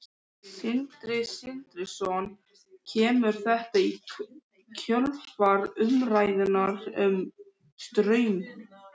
Sindri Sindrason: Kemur þetta í kjölfar umræðunnar um Straum?